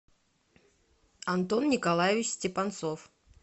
антон николаевич степанцов